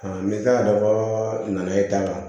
n bɛ k'a dɔ ka naye ta